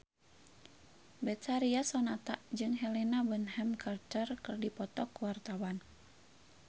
Betharia Sonata jeung Helena Bonham Carter keur dipoto ku wartawan